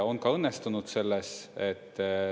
On ka õnnestunud selles.